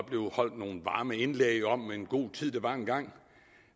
blive holdt nogle varme indlæg om hvilken god tid der var engang